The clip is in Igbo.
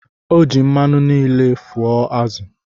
O ji mmanụ niile fụọ azụ̀